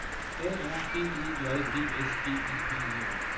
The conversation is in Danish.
A R B E J D S G I V E R